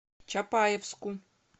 чапаевску